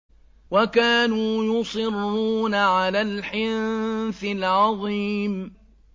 وَكَانُوا يُصِرُّونَ عَلَى الْحِنثِ الْعَظِيمِ